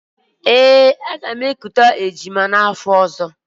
Ee, aga m ekute ejima n'afọ ọ̀zọ́.